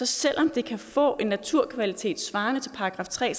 selv om det kan få en naturkvalitet svarende til § tre